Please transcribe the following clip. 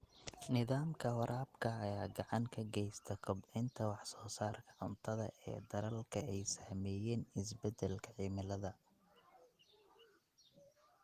Nidaamka waraabka ayaa gacan ka geysta kobcinta wax soo saarka cuntada ee dalalka ay saameeyeen isbeddelka cimilada.